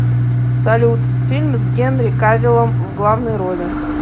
салют фильм с генри кавиллом в главной роли